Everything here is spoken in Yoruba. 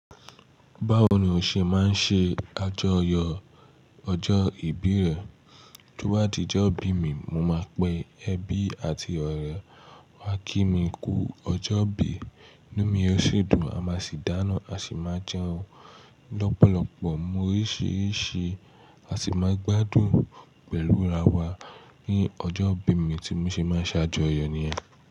Báwo ni o ṣe máa ń ṣe àjọyọ̀ ọjọ́ ìbí rẹ? Kí wá di ọjọ́ ìbí mi, mo máa pe ẹbí àti ọ̀rẹ́ wá kí mi kú ọjọ́ ìbí. Lẹ́yìn mí eréṣùdù a máa sì dáná, a sì máa jẹun lọ́pọ̀lọpọ̀ móhúrírí àti máa gbádùn pẹ̀lú ara wa ní ọjọ́ ìbí mi tí mo ṣe máa ṣàjọyọ̀ ní ẹ.